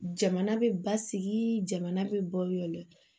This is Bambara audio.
Jamana bɛ basigi jamana bɛ baw de